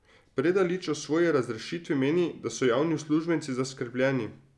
Predalič o svoji razrešitvi meni, da so javni uslužbenci zaskrbljeni.